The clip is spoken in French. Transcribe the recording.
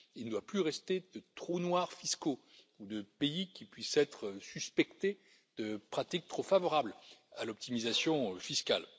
Il ne doit plus rester de trous noirs fiscaux ou de pays qui puissent être suspectés de pratiques trop favorables à l'optimisation fiscale.